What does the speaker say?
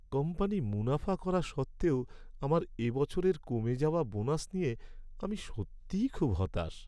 Company মুনাফা করা সত্ত্বেও আমার এবছরের কমে যাওয়া বোনাস নিয়ে আমি সত্যিই খুব হতাশ।